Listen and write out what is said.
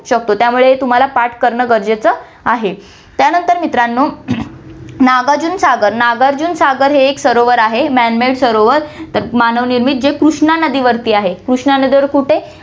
शकतो, त्यामुळे तुम्हाला पाठ करणं गरजेचं आहे. त्यानंतर मित्रांनो, नागार्जुन सागर हम्म नागार्जुन सागर हे एक सरोवर आहे man made सरोवर मानव निर्मित, जे कृष्णा नदीवरती आहे, कृष्णा नदीवर कुठे